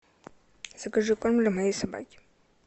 закажи корм для моей собаки